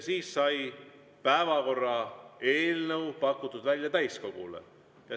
Siis sai päevakorra eelnõu pakutud välja täiskogule.